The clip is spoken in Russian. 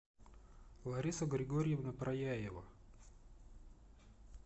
лариса григорьевна прояева